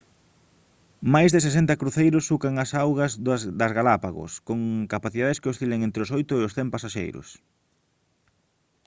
máis de 60 cruceiros sucan as augas das galápagos con capacidades que oscilan entre os 8 e os 100 pasaxeiros